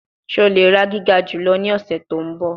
Ṣe o le ra giga julọ ni ọsẹ to nbọ?